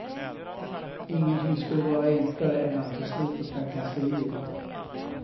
Ingenting skulle vara enklare än att få slut på trakasserierna.